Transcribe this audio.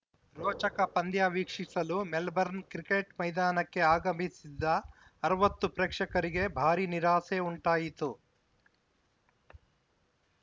ರೋಚಕ ಪಂದ್ಯ ವೀಕ್ಷಿಸಲು ಮೆಲ್ಬರ್ನ್‌ ಕ್ರಿಕೆಟ್‌ ಮೈದಾನಕ್ಕೆ ಆಗಮಿಸಿದ್ದ ಅರವತ್ತು ಪ್ರೇಕ್ಷಕರಿಗೆ ಭಾರೀ ನಿರಾಸೆ ಉಂಟಾಯಿತು